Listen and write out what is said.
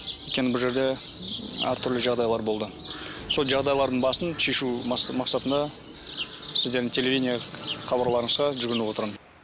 өйткені бұл жерде әртүрлі жағдайлар болды сол жағдайлардың басын шешу мақсатында сіздердің телевидение хабарларыңызға жүгініп отырмын